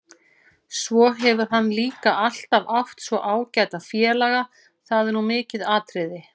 Svo hefur hann líka alltaf átt svo ágæta félaga, það er nú mikið atriði.